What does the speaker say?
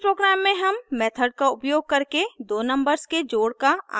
इस प्रोग्राम में हम मेथड का उपयोग करके दो नंबर्स के जोड़ का आंकलन करेंगे